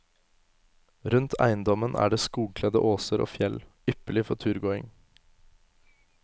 Rundt eiendommen er det skogkledde åser og fjell, ypperlig for turgåing.